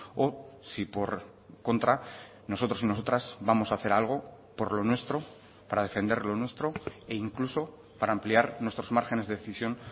o si por contra nosotros y nosotras vamos a hacer algo por lo nuestro para defender lo nuestro e incluso para ampliar nuestros márgenes de decisión